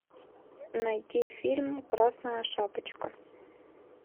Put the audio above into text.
найти фильм красная шапочка